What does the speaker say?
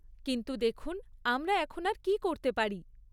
কিন্তু দেখুন, আমরা এখন আর কী করতে পারি?